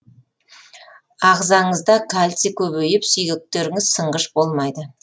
ағзаңызда кальций көбейіп сүйектеріңіз сынғыш болмайды